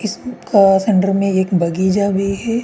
इस्म अ-अ सेंटर में एक बगीजा भी है।